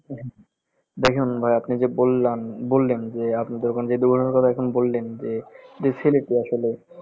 দেখেন ভাই আপনি যে বললান বললেন যে আপনি আহ যে দুর্ঘটনার কথা এখন বললেন যে, যে ছেলেটি আসলে